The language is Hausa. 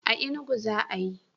A Inugu za'a yi.